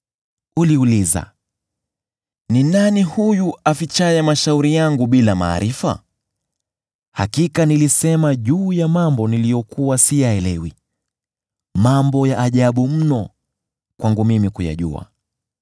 Uliuliza, ‘Ni nani huyu afichaye mashauri yangu bila maarifa?’ Hakika nilisema juu ya mambo niliyokuwa siyaelewi, mambo ya ajabu mno kwangu mimi kuyajua.